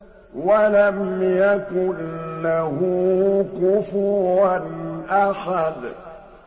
وَلَمْ يَكُن لَّهُ كُفُوًا أَحَدٌ